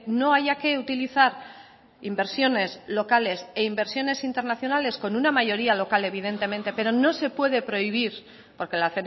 no haya que utilizar inversiones locales e inversiones internacionales con una mayoría local evidentemente pero no se puede prohibir porque la